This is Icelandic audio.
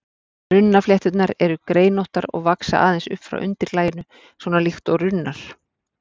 Runnaflétturnar eru greinóttar og vaxa aðeins upp frá undirlaginu, svona líkt og runnar.